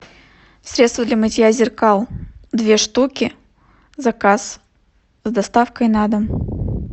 средство для мытья зеркал две штуки заказ с доставкой на дом